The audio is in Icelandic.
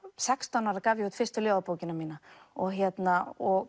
sextán ára gaf ég út fyrstu ljóðabókina mína og og